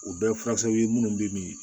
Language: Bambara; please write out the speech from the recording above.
U bɛɛ ye furakisɛw ye minnu bɛ min